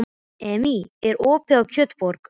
Emmý, er opið í Kjötborg?